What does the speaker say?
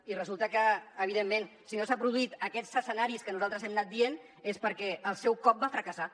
i evidentment si no s’han produït aquests escenaris que nosaltres hem anat dient és perquè el seu cop va fracassar